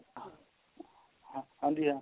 ਹਾਂ ਹਾਂਜੀ ਹਾਂ